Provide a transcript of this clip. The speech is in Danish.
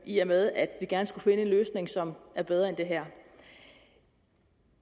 i og med at vi gerne skulle finde en løsning som er bedre end den her